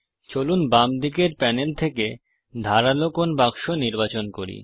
চলুন বাম দিকের প্যানেলের থেকে ধারালো কোণ বাক্স নির্বাচন করি